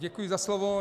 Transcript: Děkuji za slovo.